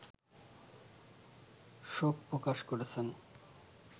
শোক প্রকাশ করেছেন